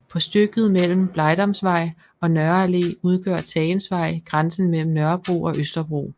På stykket mellem Blegdamsvej og Nørre Allé udgør Tagensvej grænsen mellem Nørrebro og Østerbro